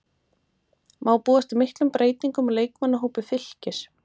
Má búast við miklum breytingum á leikmannahópi Fylkis?